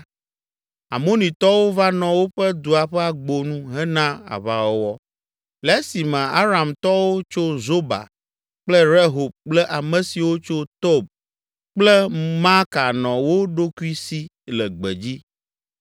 Amonitɔwo va nɔ woƒe dua ƒe agbo nu hena aʋawɔwɔ le esime Aramtɔwo tso Zoba kple Rehob kple ame siwo tso Tob kple Maaka nɔ wo ɖokui si le gbedzi.